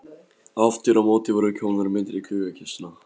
Aftur á móti voru komnar myndir í gluggakistuna.